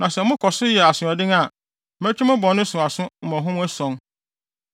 “ ‘Na sɛ mokɔ so yɛ asoɔden a, mɛtwe mo bɔne no so aso mmɔho ason.